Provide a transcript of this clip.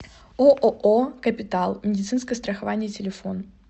ооо капитал медицинское страхование телефон